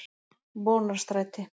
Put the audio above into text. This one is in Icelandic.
Vonarstræti